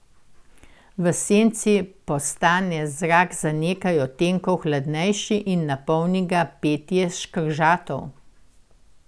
V senci postane zrak za nekaj odtenkov hladnejši in napolni ga petje škržatov.